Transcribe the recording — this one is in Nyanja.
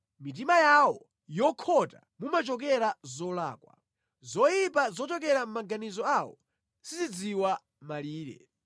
Mʼmitima yawo yokhota mumachokera zolakwa; zoyipa zochokera mʼmaganizo awo sizidziwa malire.